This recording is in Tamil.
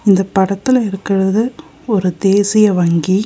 இந்த படத்துல இருக்கறது ஒரு தேசிய வங்கி.